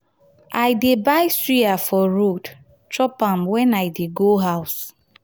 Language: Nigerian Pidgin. i dey buy suya for road chop am wen i dey go house.